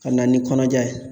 Ka na ni kɔnɔja ye